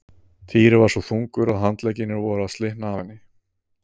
Týri var svo þungur að handleggirnir voru að slitna af henni.